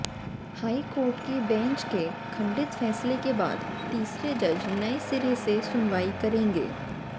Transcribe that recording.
high court की bench के खंडित फैसले के बाद तीसरे जज नए सिरे से सुनवाई करेंगे